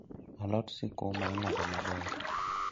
Alot sukuma ing'ado maber